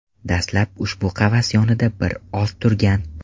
Dastlab ushbu qafas yonida bir oz turgan.